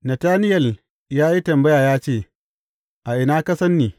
Natanayel ya yi tambaya ya ce, A ina ka san ni?